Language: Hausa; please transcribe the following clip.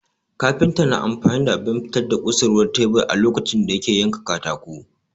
Kafinta na amfani da abin fitar da kusurwar tebur a lokacin da yake yanka katako